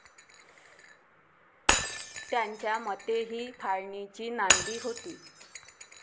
त्यांच्या मते हि फाळणीची नांदी होती.